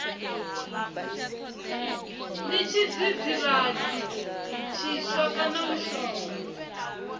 ndi tshidzidzivhadzi tshiswa kana mushonga